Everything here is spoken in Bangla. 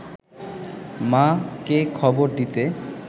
মা’কে খবর দিতে